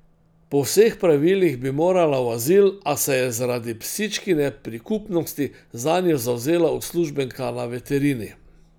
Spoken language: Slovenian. Po vseh pravilih bi morala v azil, a se je zaradi psičkine prikupnosti zanjo zavzela uslužbenka na veterini.